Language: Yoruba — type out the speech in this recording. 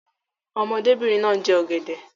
Ọmọdébìnrin náà ń jẹ ọ̀gẹ̀dẹ̀.